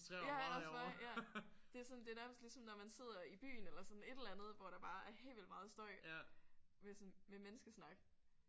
Ja også mig ja! Det er sådan det er nærmest ligesom når man sidder i byen eller sådan et eller andet hvor der bare er helt vildt meget støj med sådan med menneskesnak